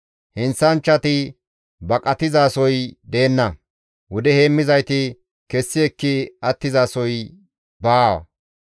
Heenththanchchati baqatizasoy deenna; wude heemmizayti kessi ekki attizasoy baa.